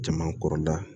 Jama kɔrɔda